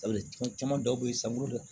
caman dɔw bɛ yen san bolo dɛ